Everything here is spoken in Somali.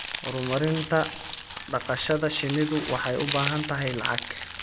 Horumarinta dhaqashada shinnidu waxay u baahan tahay lacag.